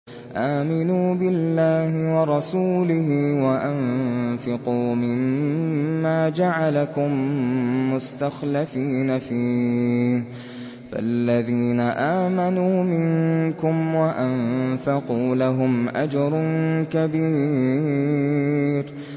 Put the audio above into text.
آمِنُوا بِاللَّهِ وَرَسُولِهِ وَأَنفِقُوا مِمَّا جَعَلَكُم مُّسْتَخْلَفِينَ فِيهِ ۖ فَالَّذِينَ آمَنُوا مِنكُمْ وَأَنفَقُوا لَهُمْ أَجْرٌ كَبِيرٌ